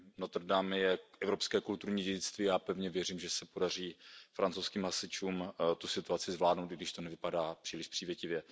Notre Dame je evropské kulturní dědictví a já pevně věřím, že se podaří francouzským hasičům tu situaci zvládnout, i když to nevypadá příliš přívětivě.